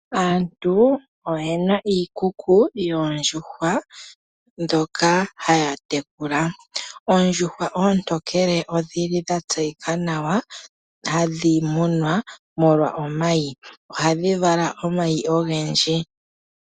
Aantu oye na iikuku yoondjuhwa ndhoka haya tekula. Oondjuhwa oontokele odhi li dha tseyika nawa hadhi munwa molwa omayi. Ohadhi vala omayi ogendji.